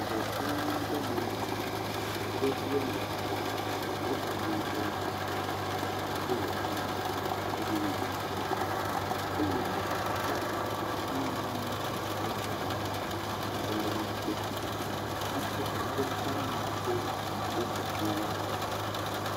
Ŋe gã ɖe nye si, yevu woame etɔ kple ame yibɔ woa me eve wole ŋu me eye wole nu ƒom eye ta tami le eŋu ŋgɔ henɔ nu kpɔm. ati kɔkɔ damea ɖe eƒoxla wo.